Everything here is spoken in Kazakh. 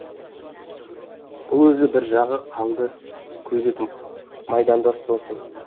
бұл өзі бір жағы қаңды көйлек майдандас досым